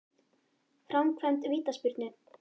Framkvæmd vítaspyrnu?